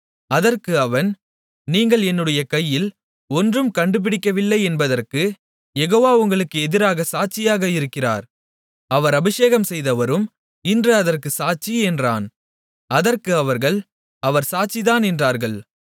அதற்கு அவன் நீங்கள் என்னுடைய கையில் ஒன்றும் கண்டுபிடிக்கவில்லை என்பதற்குக் யெகோவா உங்களுக்கு எதிராகச் சாட்சியாக இருக்கிறார் அவர் அபிஷேகம்செய்தவரும் இன்று அதற்குச் சாட்சி என்றான் அதற்கு அவர்கள் அவர் சாட்சிதான் என்றார்கள்